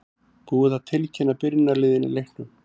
Búið er að tilkynna byrjunarliðin í leiknum.